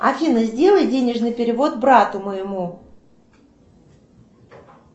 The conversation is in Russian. афина сделай денежный перевод брату моему